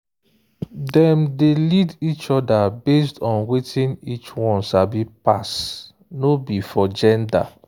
dem dey lead each other based on wetin each one sabi pass no be for gender